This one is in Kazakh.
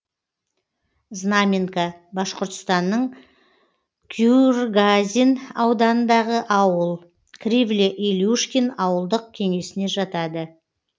знаменка башқұртстанның куюргазин ауданындағы ауыл кривле илюшкин ауылдық кеңесіне жатады